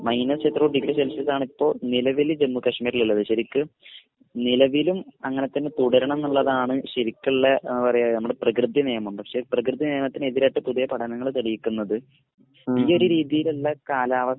Minus എത്രയോ degree സെൽഷ്യസാണ് ഇപ്പോൾ നിലവിൽ ജമ്മു കാശ്മീരിൽ ഉള്ളത്. ശരിക്കും നിലവിലും അങ്ങനെ തന്നെ തുടരണം എന്നുള്ളതാണ് ശരിക്കുമുള്ള എന്താ പറയാ നമ്മുടെ പ്രകൃതി നിയമം. പക്ഷെ പ്രകൃതി നിയമത്തിന് എതിരായിട്ട് പുതിയ പഠനങ്ങൾ തെളിയിക്കുന്നത് ഈ ഒരു രീതിയിലുള്ള കാലാവസ്ഥ